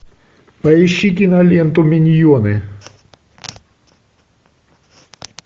поищи киноленту миньоны